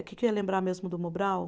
O que que eu ia lembrar mesmo do Mobral?